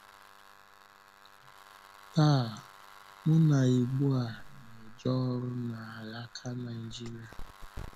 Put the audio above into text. Tàa, mụ na Ígbòà na-eje ọrụ n’álàkà Nàịjíríà.